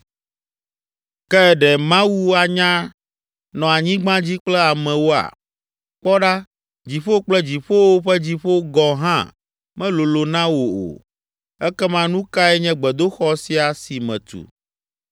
“Ke, ɖe Mawu anya nɔ anyigba dzi kple amewoa? Kpɔ ɖa, dziƒo kple dziƒowo ƒe dziƒo gɔ̃ hã melolo na wò o, ekema nu kae nye gbedoxɔ sia si metu?